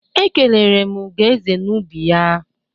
E kelere m Ugoeze n'ubi ya.